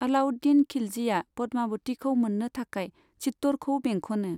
अलाउद्दिन खिलजिआ पद्मावतिखौ मोननो थाखाय चित्तौड़खौ बेंख'नो।